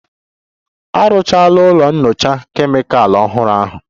A rụchara ụlọ nyocha Kemịkalụ ọhụrụ ahụ